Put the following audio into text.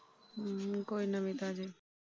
ਹੂ ਕੋਈ ਨਵੀ ਤਾਜ਼ੀ।